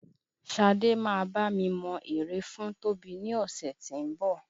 Ṣadé máa bá mi mọ ère Tóbi ní ọ̀sẹ̀ tí ń bọ̀.